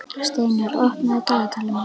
Steinar, opnaðu dagatalið mitt.